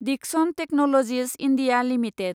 Dickson technologies India limited